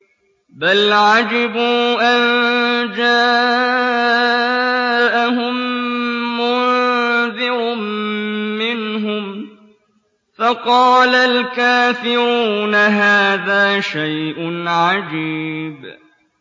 بَلْ عَجِبُوا أَن جَاءَهُم مُّنذِرٌ مِّنْهُمْ فَقَالَ الْكَافِرُونَ هَٰذَا شَيْءٌ عَجِيبٌ